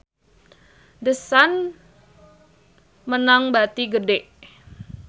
The Sun meunang bati gede